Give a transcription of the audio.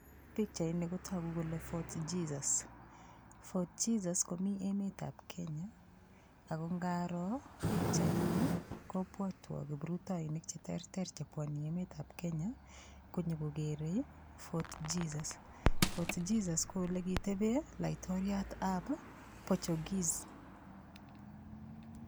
Pikchaini kotogu kole fort Jesus fort Jesus komi emetab Kenya ako ngaro pikchaini kopwotwo kiprutoinik cheterter chepwoni emetab Kenya konyikokerei fort Jesus fort Jesus ko ole kitebe laitoriatab Portuguese